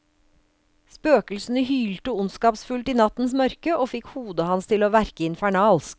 Spøkelsene hylte ondskapsfullt i nattens mørke, og fikk hodet hans til å verke infernalsk.